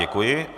Děkuji.